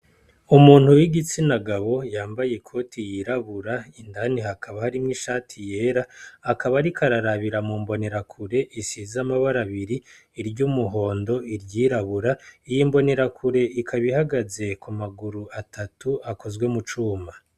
Umuntu w'igitsinagabo yambaye ikoti yirabura ,indani hakaba hari mw'ishati yera, akaba ariko rarabira mu mbonerakure isiz'amabara abiri, iry'umuhondo, iryirabura iy'imbonerakure ikaba ihagaze ku maguru atatu akozwe mu cuma.